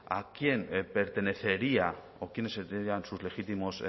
a quién pertenecería o quiénes serían sus legítimos